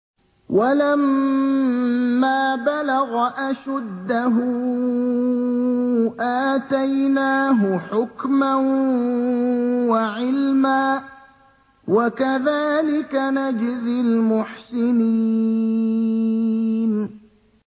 وَلَمَّا بَلَغَ أَشُدَّهُ آتَيْنَاهُ حُكْمًا وَعِلْمًا ۚ وَكَذَٰلِكَ نَجْزِي الْمُحْسِنِينَ